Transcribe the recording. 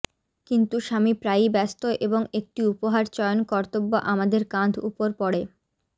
কিন্তু স্বামী প্রায়ই ব্যস্ত এবং একটি উপহার চয়ন কর্তব্য আমাদের কাঁধ উপর পড়ে